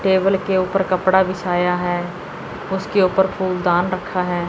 Table के ऊपर कपड़ा बिछाया है उसके ऊपर फूलदान रखा है।